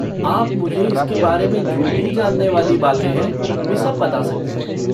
आप मुझे इसके बारे में जो भी जानने वाली बातें है वे सब बता सकते हैं।